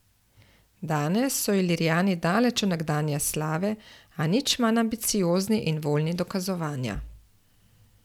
Danes so ilirijani daleč od nekdanje slave, a nič manj ambiciozni in voljni dokazovanja.